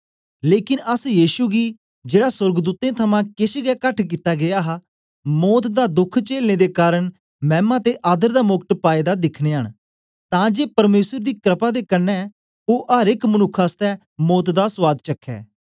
लेकन अस यीशु गी जेड़ा सोर्गदूतें थमां केछ गै घट कित्ता गीया हा मौत दा दोख चेलने दे कारन मैमा ते आदर दा मोकट पाए दा दिखनयां न तां जे परमेसर दी क्रपा दे कन्ने ओ अर एक मनुक्ख आसतै मौत दा सुआद चखै